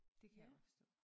Det kan jeg godt forstå